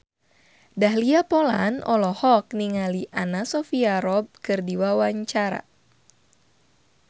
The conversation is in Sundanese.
Dahlia Poland olohok ningali Anna Sophia Robb keur diwawancara